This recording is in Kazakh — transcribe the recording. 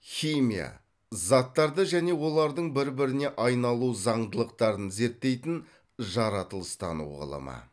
химия заттарды және олардың бір біріне айналу заңдылықтарын зерттейтін жаратылыстану ғылымы